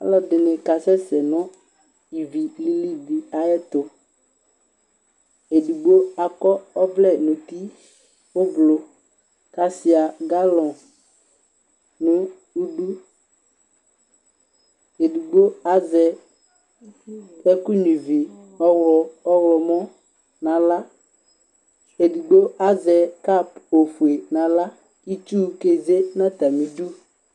Ɔlɔdɩnɩ kasɛ se nʋ ivi bɩ lɩlɩ ayʋ ɛtʋ Edigbo akɔ ɔvlɛ ʋblʋ nʋ uti, kʋ asʋia galɔŋ nʋ idʋ Edigbo azɛ ɛkʋ nyʋia ivi ɔɣlɔmɔ nʋ aɣla Edigbo azɛ kap ofue nʋ aɣla Itsu keze nʋ atamɩ ɩdʋ